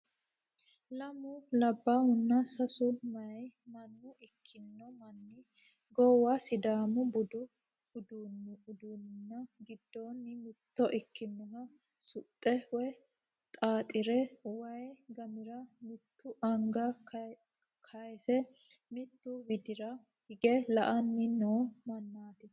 Lamu labbayhunna sase meeya manna ikkino manni goowa sidaamu budu uddiuunni giddonni mitto ikkinoha suxxe woy xaaxire waay gamira mitu anga kaayse mittu widira hige la"anni noo mannaati?